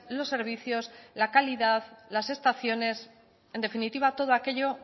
los servicios la calidad las estaciones en definitiva todo aquello